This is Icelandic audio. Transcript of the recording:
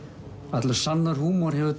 allur sannur húmor hefur